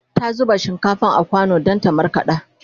ta zuba shinkafar a kwano Dan ta markaɗa